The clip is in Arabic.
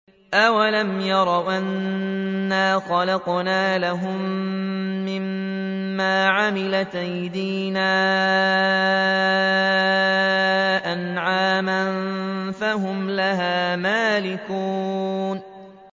أَوَلَمْ يَرَوْا أَنَّا خَلَقْنَا لَهُم مِّمَّا عَمِلَتْ أَيْدِينَا أَنْعَامًا فَهُمْ لَهَا مَالِكُونَ